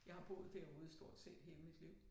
Jeg har boet derude stort set hele mit liv